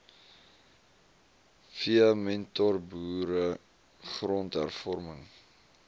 v mentorboere grondhervorming